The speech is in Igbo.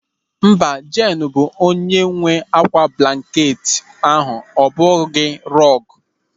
Mba, Jeenu bụ onye nwe ákwá blanket ahụ ọ bụghị rọọgụ..